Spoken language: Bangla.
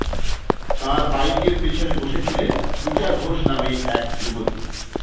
তাঁর বাইকের পেছনে বসেছিলেন পূজা ঘোষ নামে এক যুবতী